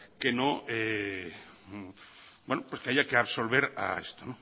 que no pues que haya que absolver a esto